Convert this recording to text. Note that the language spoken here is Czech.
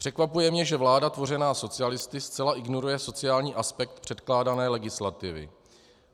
Překvapuje mě, že vláda tvořená socialisty zcela ignoruje sociální aspekt předkládané legislativy.